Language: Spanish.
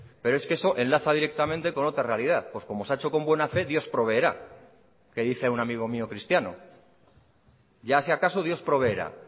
pero es que eso enlaza directamente con otra realidad pues como se ha hecho con buena fe dios proveerá que dice un amigo mío cristiano ya si acaso dios proveerá